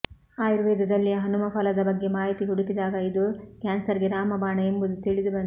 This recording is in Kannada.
ಆಯುರ್ವೇದದಲ್ಲಿ ಹನುಮಫಲದ ಬಗ್ಗೆ ಮಾಹಿತಿ ಹುಡುಕಿದಾಗ ಇದು ಕ್ಯಾನ್ಸರ್ಗೆ ರಾಮಬಾಣ ಎಂಬುದು ತಿಳಿದುಬಂತು